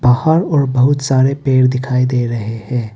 बाहर और बहुत सारे पेड़ दिखाई दे रहे हैं।